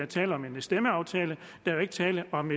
tale om en stemmeaftale der er ikke tale om